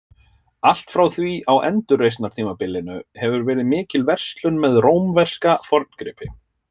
Allt frá því á endurreisnartímabilinu hefur verið mikil verslun með rómverska forngripi.